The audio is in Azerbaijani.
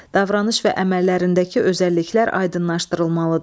Davranış və əməllərindəki özəlliklər aydınlaşdırılmalıdır.